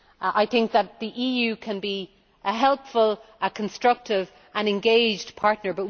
I think the EU can be a helpful, constructive and engaged partner.